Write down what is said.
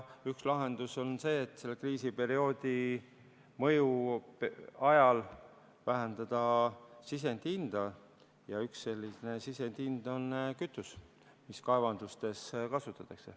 Üks lahendusi on see, et selle kriisi mõju ajal vähendada sisendi hinda, ja üks selliseid sisendeid on kütus, mida kaevandustes kasutatakse.